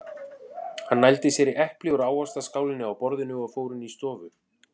Hann nældi sér í epli úr ávaxtaskálinni á borðinu og fór inn í stofu.